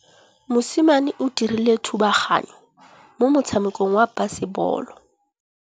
Mosimane o dirile thubaganyô mo motshamekong wa basebôlô.